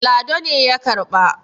lado ne ya karɓa